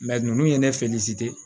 ninnu ye ne